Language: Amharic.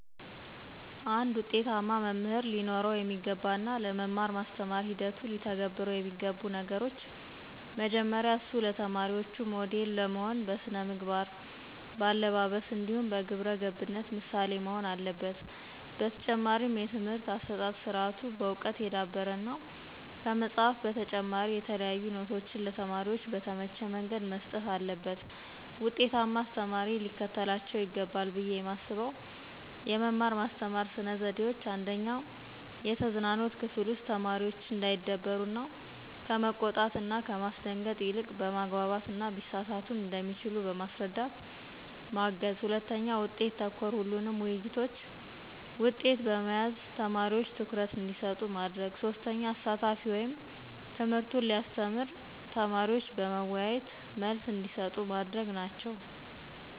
አንድ ውጤታማ መምህር ሊኖረው የሚገባ እና ለመማር ማስተማር ሂደቱ ሊተገብረው የሚገቡ ነገሮች። መጀመሪያ እሱ ለተማሪዎቹ ሞዴል ለመሆን በስነ መግባር, በአለባበስ ,እንዲሁም በግብረገብነት ምሳሌ መሆን አለበት። በተጨማሪም የትምህርት አሠጣጥ ስርአቱ በዕውቀት የዳበረ እና ከመፅሀፍ በተጨማሪ የተለያዩ ኖቶችን ለተማሪዎች በተመቸ መንገድ መስጠት አለበት። ውጤታማ አስተማሪ ሊከተላቸው ይገባል ብየ የማስበው የመማር ማስተማር ስነ ዘዴዎች:- 1/የተዝናኖት ክፍል ውስጥ ተማሪዎች እንዳይደበሩ እና ከመቆጣት እና ከማስደንገጥ ይልቅ በማግባባት እና ቢሳሳቱም እንደሚችሉ በማስረዳት ማገዝ 2/ውጤት ተኮር ሁሉንም ውይይቶች ውጤት በመያዝ ተማሪዎች ትኩረት እንዲሰጡ ማድረግ። 3/አሳታፊ ወይም ትምህርቱን ሲያስተምር ተማሪዎች በመዎያየት መልስ እንዲሰጡ ማድረግ ናቸው።